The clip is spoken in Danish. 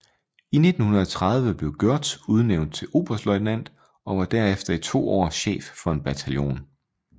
I 1930 blev Gørtz udnævnt til oberstløjtnant og var derefter i to år chef for en bataljon